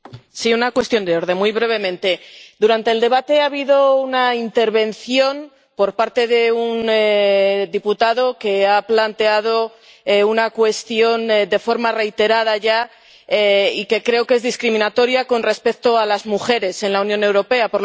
Señor presidente, sí, una cuestión de orden, muy brevemente. Durante el debate ha habido una intervención, por parte de un diputado, que ha planteado una cuestión, de forma reiterada ya, y que creo que es discriminatoria con respecto a las mujeres en la Unión Europea.